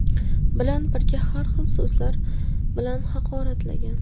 bilan birga har xil so‘zlar bilan haqoratlagan.